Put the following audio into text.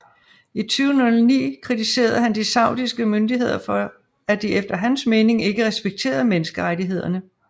I 2009 kritiserede han de saudiske myndigheder for at de efter hans mening ikke respekterede menneskerettighederne